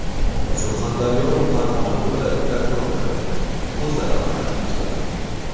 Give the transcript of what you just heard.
Surxondaryo va Farg‘ona viloyat prokurorlari o‘zaro almashtirildi.